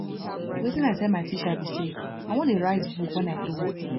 wetin i tell my teacher be say i wan dey write book wen i grow up